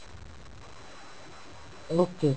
okay